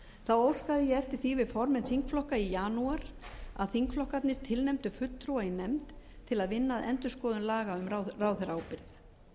ég eftir því við formenn þingflokka í janúar að þingflokkarnir tilnefndu fulltrúa í nefnd til að vinna að endurskoðun laga um ráðherraábyrgð